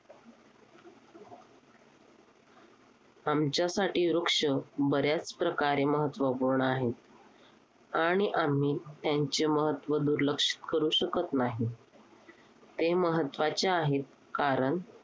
आमच्यासाठी वृक्ष बऱ्याच प्रकारे महत्त्वपूर्ण आहेत. आणि आम्ही त्यांचे महत्त्व दुर्लक्षित करू शकत नाही. ते महत्त्वाचे आहेत, कारण